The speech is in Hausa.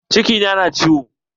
Ciki na na ciwo